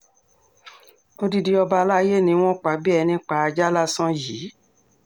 odidi ọba alay ni wọ́n pa bíi ẹni pa ajá lásán yìí